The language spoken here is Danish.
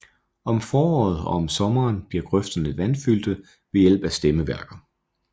Om foråret og om sommeren bliver grøfterne vandfyldte ved hjælp af stemmeværker